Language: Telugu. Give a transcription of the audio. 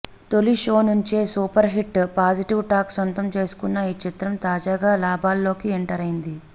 తొలి షో నుంచే సూపర్ హిట్ పాజిటివ్ టాక్ సొంతం చేసుకున్న ఈ చిత్రం తాజాగా లాభాల్లోకి ఎంటరైంది